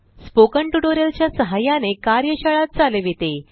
spoken tutorial च्या सहाय्याने कार्यशाळा चालविते